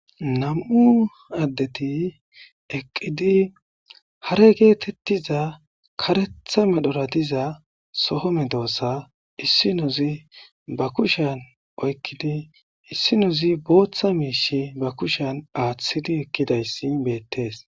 Hayssa misileza bolla taasi beetizay aaze gizayssa giddiko woykko xeelishin dizayssi nam'u addeti dumma dumma lo'iza miishata gidoyssi qoncce gididi dizayssa besees.